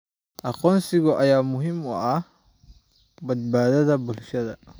Aqoonsiga ayaa muhiim u ah badbaadada bulshada.